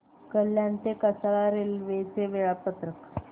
कल्याण ते कसारा रेल्वे चे वेळापत्रक